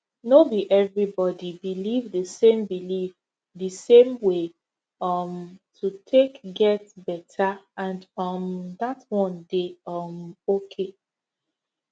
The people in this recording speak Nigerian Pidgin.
no be everybody believe the same believe the same way um to take get better and um dat one dey um okay